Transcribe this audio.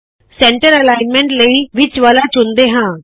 centre alignment ਲਈ ਵਿੱਚ ਵਾਲ਼ਾ ਚੁਣਦੇ ਹਾੰ